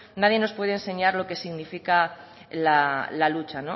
nadie nos puede enseñar lo que significa la lucha